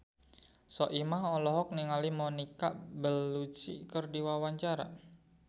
Soimah olohok ningali Monica Belluci keur diwawancara